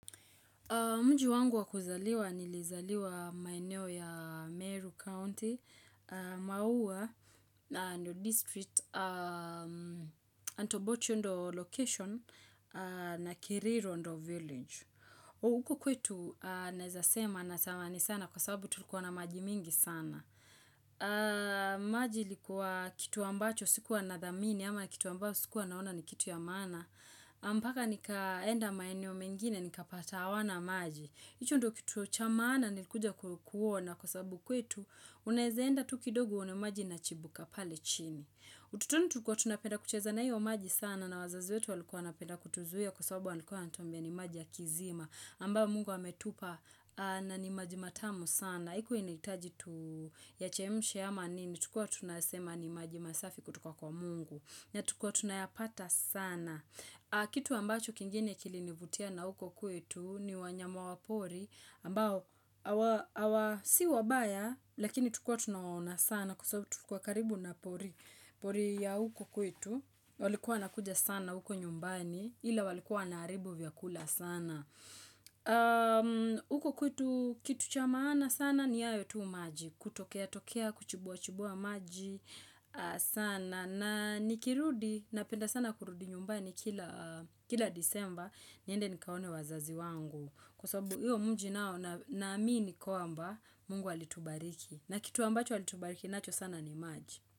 Mji wangu wakuzaliwa nilizaliwa maeneo ya Meru County, maua, New District, Antobocho ndio location, na Kiriru ndio village. Uku kwetu naeza sema natamani sana kwa sababu tulikuwa na maji mingi sana. Maji ilikuwa kitu ambacho sikuwa na dhamini, ama kitu ambacho sikuwa naona ni kitu ya maana. Mpaka nikaenda maeneo mengine nikapata hawana maji hicho ndicho kitu cha maana nilikuja kuona Kwa sababu kwetu Unaezeenda tu kidogo uone maji inachimbuka pale chini utotoni tulikuwa tunapenda kucheza na iyo maji sana na wazazi wetu walikuwa wanapenda kutuzuia Kwa sababu walikuwa wanatuambia ni maji ya kisima ambayo mungu ametupa na ni maji matamu sana haikuwa inahitaji tu yachemshe ama nini Tulikuwa tunasema ni maji masafi kutoka kwa mungu na tulikuwa tunayapata sana Kitu ambacho kingine kilinivutia na huko kwetu ni wanyama wapori ambao, awa si wabaya lakini tulikuwa tunawaona sana Kwa sababu tulikuwa karibu na pori ya huko kwetu walikuwa wanakuja sana huko nyumbani Ila walikuwa wanaharibu vyakula sana huko kwetu kitu cha maana sana ni hayo tu maji kutokea tokea, kuchimbua chimbua maji sana na nikirudi, napenda sana kurudi nyumbani kila disemba, niende nikaone wazazi wangu. Kwa sababu, hiyo mji nao, naamini kwamba, mungu alitubariki. Na kitu ambacho alitubariki, nacho sana ni maji.